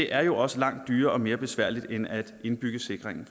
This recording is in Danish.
er jo også langt dyrere og mere besværligt end at indbygge sikringen